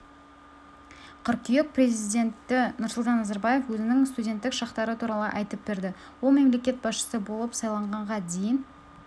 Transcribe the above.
қыркүйек президенті нұрсұлтан назарбаев өзінің студенттік шақтары туралы айтып берді ол мемлекет басшысы болып сайланғанға дейін